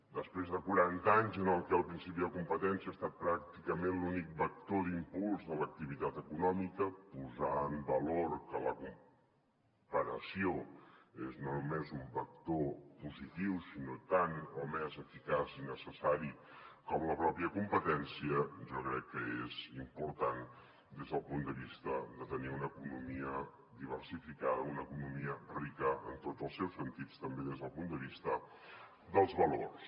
després de quaranta anys en els que el principi de competència ha estat pràcticament l’únic vector d’impuls de l’activitat econòmica posar en valor que la comparació és no només un vector positiu sinó tant o més eficaç i necessari com la pròpia competència jo crec que és important des del punt de vista de tenir una economia diversificada una economia rica en tots els seus sentits també des del punt de vista dels valors